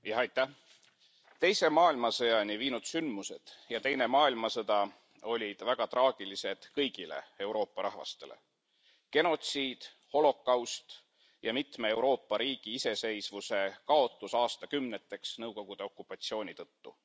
Austatud istungi juhataja! Teise maailmasõjani viinud sündmused ja Teine maailmasõda olid väga traagilised kõigile Euroopa rahvastele. Genotsiid, holokaust ja mitme Euroopa riigi iseseisvuse kaotus aastakümneteks Nõukogude okupatsiooni tõttu.